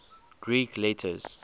greek letters